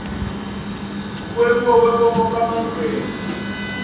ngukwebiwa kwenkomo kamangwenya